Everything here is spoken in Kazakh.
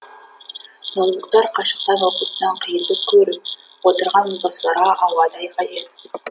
ноутбуктар қашықтан оқытудан қиындық көріп отырған отбасыларға ауадай қажет